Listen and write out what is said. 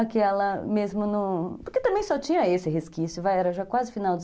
Aquela mesmo no... Porque também só tinha esse resquício, era já quase final